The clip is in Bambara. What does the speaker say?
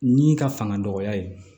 Ni ka fanga dɔgɔya ye